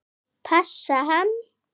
Passa hann?